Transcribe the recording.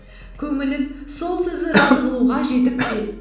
көңілін сол сөзі разы қылуға жетіп пе